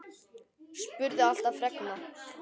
Spurði alltaf fregna.